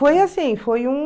Foi assim, foi um...